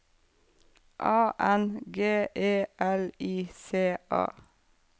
A N G E L I C A